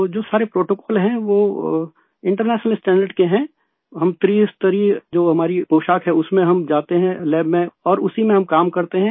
तो जो सारे प्रोटोकॉल हैं वो इंटरनेशनल स्टैंडर्ड्स के हैंहम त्रिस्तरीय जो हमारी पोशाक है उसमे हम जाते हैं लैब में और उसी में हम काम करते हैं